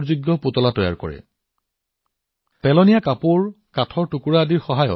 এই শিক্ষাৰ্থীসকলে পুতলা তৈয়াৰ কৰিবলৈ পুৰণি কাপোৰ পেলাই দিয়া কাঠৰ টুকুৰা বেগ আৰু বাকচ ব্যৱহাৰ কৰি আছে